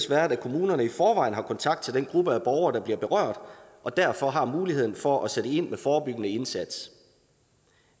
været at kommunerne i forvejen har kontakt til den gruppe af borgere der bliver berørt og derfor har muligheden for at sætte ind med en forebyggende indsats